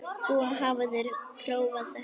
Þú hafðir prófað þetta allt.